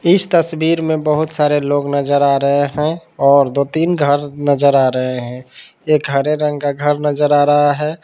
इस तस्वीर में बहुत सारे लोग नजर आ रहे हैं और दो तीन घर नजर आ रहे हैं एक हरे रंग का घर नजर आ रहा है।